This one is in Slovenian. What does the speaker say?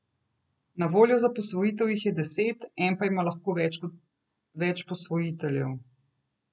Na voljo za posvojitev jih je deset, en pa ima lahko lahko več posvojiteljev.